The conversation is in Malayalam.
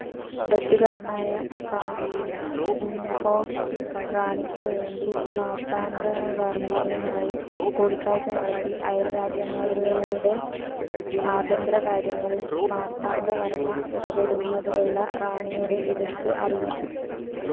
ഡച്ചുകാരനായ വൻ ഇംഹോഫ്‌ റാണിക്കുവേണ്ടി മാർത്താണ്ഡവർമ്മയുമായി കൂടിക്കാഴ്ച നടത്തി അയൽരാജ്യങ്ങളുടേ അഭ്യന്തരകാര്യങ്ങളിൽ മാർത്താണ്ഡവർമ്മ ഇടപെടുന്നതിലുള്ള റാണിയുടെ എതിർപ്പ്‌ അറിയിച്ചു.